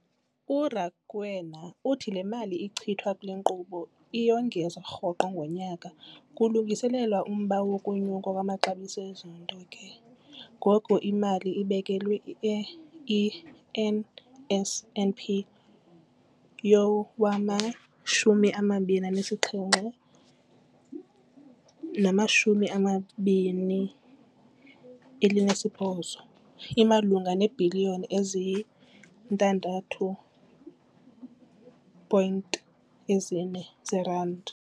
URakwena uthi le mali ichithwa kule nkqubo iyongezwa rhoqo ngonyaka kulungiselelwa umba wokunyuka kwamaxabiso ezinto, ke ngoko imali ebekelwe i-NSNP yowama-2017, 18 imalunga neebhiliyoni eziyi-6.4 zeerandi.